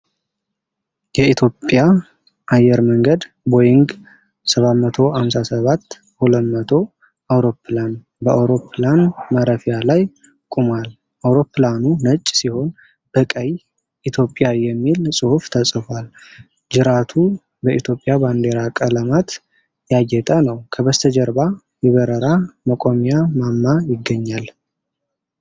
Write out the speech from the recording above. የኢትዮጵያ አየር መንገድ ቦይንግ 757-200 አውሮፕላን በአውሮፕላን ማረፊያ ላይ ቆሟል። አውሮፕላኑ ነጭ ሲሆን በቀይ "ኢትዮጵያ" የሚል ጽሑፍ ተጽፏል፤ ጅራቱ በኢትዮጵያ ባንዲራ ቀለማት ያጌጠ ነው። ከበስተጀርባ የበረራ መቆጣጠሪያ ማማ ይገኛል።